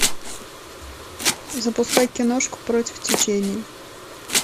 запускай киношку против течения